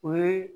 O ye